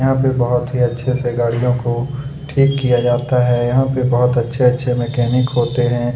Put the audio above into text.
यहाँ पे बहोत ही अच्छे से गाड़ियों को ठीक किया जाता है यहाँ पे बहुत ही अच्छे-अच्छे मिकैनिक होते है।